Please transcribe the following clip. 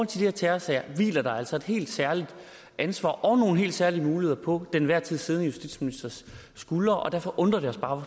til de her terrorsager hviler der altså et helt særligt ansvar og nogle helt særlige muligheder på den enhver tid siddende justitsministers skuldre og derfor undrer det os bare